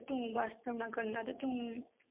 ਕਰਨਾ ਤੂੰ